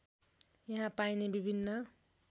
यहाँ पाइने विभिन्न